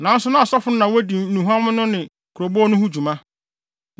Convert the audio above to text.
Nanso na asɔfo no na wodi nnuhuam no ne kurobow no ho dwuma.